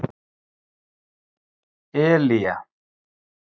Elía